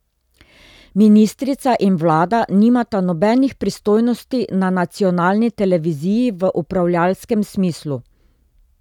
Ministrica in vlada nimata nobenih pristojnosti na nacionalni televiziji v upravljavskem smislu.